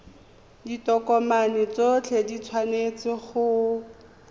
ditokomane tsotlhe di tshwanetse go